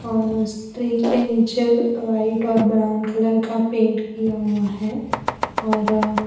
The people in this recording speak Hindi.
और उस ट्री के नीचे वाइट और ब्राउन कलर का पेंट किया हुआ है और अ --